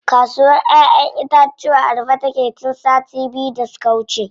Kasuwr ƴaƴen itatuwa a rufe take tun sati biyu da suka wuce.